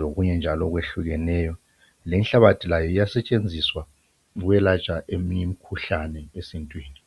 lokunye njalo okwehlukeneyo lenhlabathi layo iyasetshenziswa ukwelatshwa eminye imikhuhlane esintwini.